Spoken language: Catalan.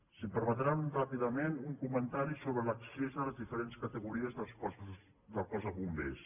si em permeten ràpidament un comentari sobre l’ac·cés a les diferents categories del cos de bombers